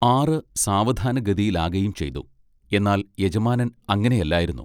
ആറു സാവധാന ഗതിയിലാകയും ചെയ്തു. എന്നാൽ യജമാനൻ അങ്ങിനെ അല്ലായിരുന്നു.